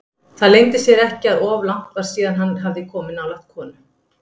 Það leyndi sér ekki að of langt var síðan hann hafði komið nálægt konu.